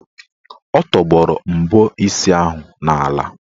Ọ tọgbọrọ mbọ isi ahụ n'ala.